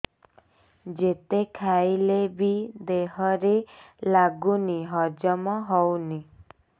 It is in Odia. ଯେତେ ଖାଇଲେ ବି ଦେହରେ ଲାଗୁନି ହଜମ ହଉନି